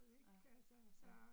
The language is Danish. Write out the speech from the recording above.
Ja, ja